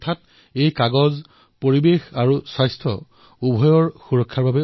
অৰ্থাৎ এই কাগজ সম্পূৰ্ণৰূপে পৰিবেশৰ বাবেও সুৰক্ষিত আৰু স্বাস্থ্যৰ বাবেও সুৰক্ষিত